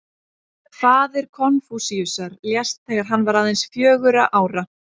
Faðir Konfúsíusar lést þegar hann var aðeins fjögurra ára.